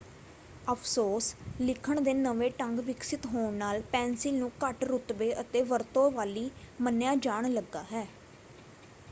ਅਫ਼ਸੋਸ ਲਿਖਣ ਦੇ ਨਵੇਂ ਢੰਗ ਵਿਕਸਤ ਹੋਣ ਨਾਲ ਪੈਨਸਿਲ ਨੂੰ ਘੱਟ ਰੁਤਬੇ ਅਤੇ ਵਰਤੋਂ ਵਾਲੀ ਮੰਨਿਆ ਜਾਣ ਲੱਗਾ ਹੈ।